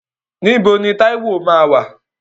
Níbo ni Táíwò máa wà?